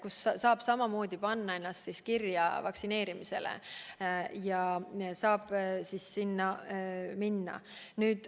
Seal saab ennast vaktsineerimisele kirja panna.